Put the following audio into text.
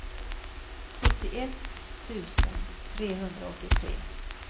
sjuttioett tusen trehundraåttiotre